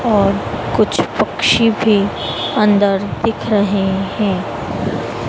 और कुछ पक्षी भी अंदर दिख रहे हैं।